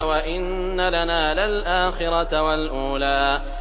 وَإِنَّ لَنَا لَلْآخِرَةَ وَالْأُولَىٰ